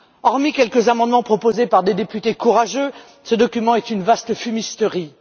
Hormis quelques amendements proposés par des députés courageux, ce document est une vaste fumisterie.